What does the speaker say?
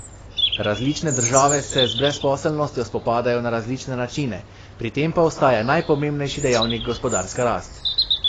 Različne države se z brezposelnostjo spopadajo na različne načine, pri tem pa ostaja najpomembnejši dejavnik gospodarska rast.